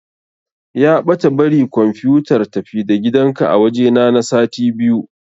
Ya ɓata bari kumfiyotar-tafi-da-gidanka a wajena na sati biyu.